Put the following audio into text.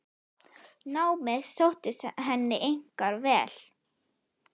Námið sóttist henni einkar vel.